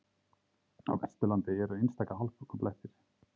Á Vesturlandi eru einstaka hálkublettir